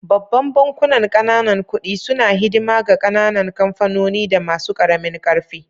Babban bankunan ƙananan kuɗi suna hidima ga ƙananan kamfanoni da masu karamin karfi.